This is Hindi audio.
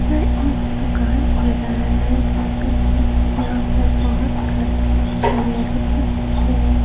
यह एक दुकान लग रहा हैं जैसा कि यहाँ पर बहुत सारे बुक्स वगैरह भी मिलते हैं।